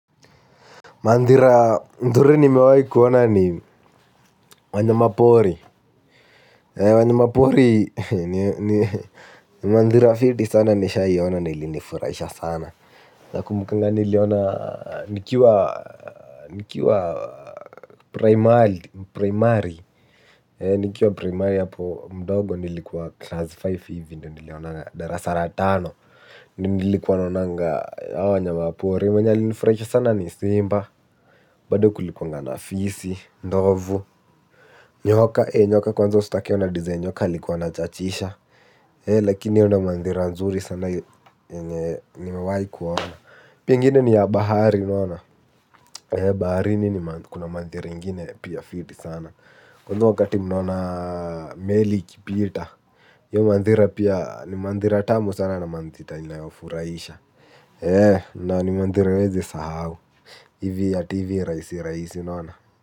Ndhuri ni mewai kuona ni wanyamapori. Wanyama pori ni mandhira fiti sana nishaiona na ilinifurahisha sana. Nakumbukanga niliiona nikiwa primari. Nikiwa primari hapo mdogo nilikuwa 'class five' hivi ndio nilionaga. Darasa la tano ndio nilikuwa naonanga hawa wanyama pori. Mwenye alinifurahisha sana ni simba. Bado kulikuaga na fisi, ndovu. Nyoka, nyoka kwanza ustake ona 'design' nyoka alikuwa 'anachachisha'. Lakini hiyo ndio mandhari nzuri sana yenye nimewahi kuona. Ile ingine ni ya bahari. Unaona? Baharini kuna mandhari ingine pia fiti sana. Kwanza wakati mnaona meli ikipita hio mandhari pia ni mandhari tamu sana na mandhari inayofurahisha. Na ni mandhari hauwezi sahau. Hivi ati hivi rahisi rahisi unaona?